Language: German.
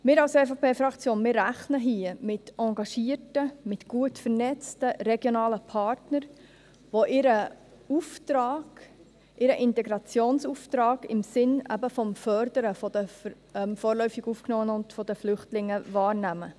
Wir als EVP-Fraktion rechnen hier mit engagierten, gut vernetzten, regionalen Partnern, welche ihren Auftrag, ihren Integrationsauftrag im Sinn des Förderns der vorläufig Aufgenommenen und der Flüchtlinge wahrnehmen.